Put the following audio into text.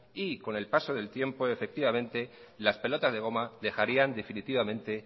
y con el paso del tiempo efectivamente las pelotas de goma dejarían definitivamente